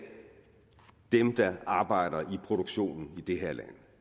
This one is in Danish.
dem der arbejder i produktionen i det her land